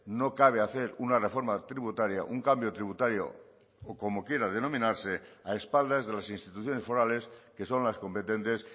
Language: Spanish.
no cabe hacer una reforma tributaria un cambio tributario o como quiera denominarse a espaldas de las instituciones forales que son las competentes